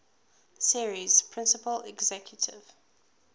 series principal executive